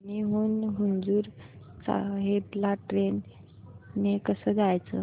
धामणी हून हुजूर साहेब ला ट्रेन ने कसं जायचं